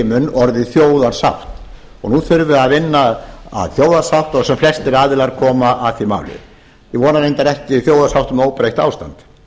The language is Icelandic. munn orðið þjóðarsátt og nú þurfi að vinna að þjóðarsátt og sem flestir aðilar komi að því máli ég vona reyndar ekki þjóðarsátt um óbreytt ástand